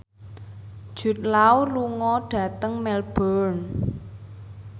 Jude Law lunga dhateng Melbourne